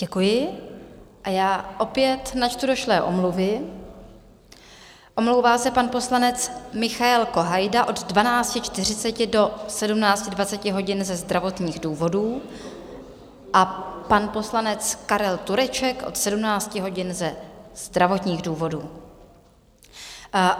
Děkuji a já opět načtu došlé omluvy: omlouvá se pan poslanec Michael Kohajda od 12.40 do 17.20 hodin ze zdravotních důvodů a pan poslanec Karel Tureček od 17 hodin ze zdravotních důvodů.